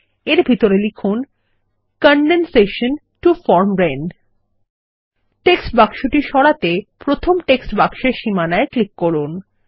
এর ভিতরে লিখুন condensation to form rain text বাক্সটি সরাতে প্রথমে টেক্সট বাক্সের সীমানায় ক্লিক করুন